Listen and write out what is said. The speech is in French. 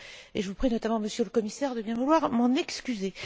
Je vous prie notamment, Monsieur le Commissaire, de bien vouloir m'en excuser.